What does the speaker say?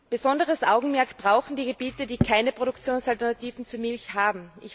Besonderes Augenmerk brauchen die Gebiete, die keine Produktionsalternativen zur Milch haben.